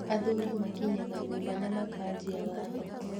Athuri makinyaga nyũba na makanjia watho